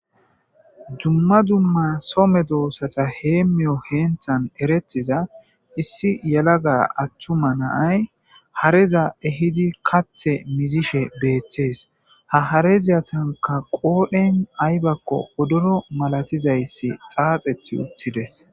Dumma dumma so medoosata heemiya heenthan erettiza issi yelaga athtuma naay, hareza ehidi katha mizishe beettees. Ha harezatanka qooren aybakko wodoro malatiza issi xaaxeti uttides.